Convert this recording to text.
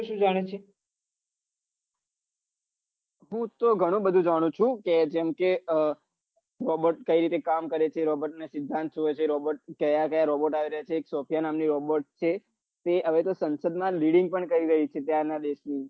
હૂતો ઘણું બઘુ જાણું છું કે robot કઈ રીતે કામ કરે છે robot ના સિદ્દાંત શું હોય છે કયા ક્યા robot કયા કયા નામે છે હવે તો સંસંદ leading પન કરી રહયુ છે ત્યાં ના દેશ માં